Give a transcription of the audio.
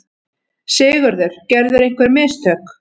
SIGURÐUR: Gerðirðu einhver mistök?